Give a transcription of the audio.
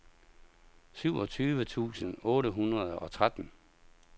syvogtyve tusind otte hundrede og tretten